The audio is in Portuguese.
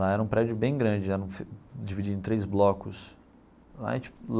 Lá era um prédio bem grande já, era dividido em três blocos lá em.